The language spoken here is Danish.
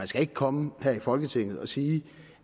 skal ikke komme her i folketinget og sige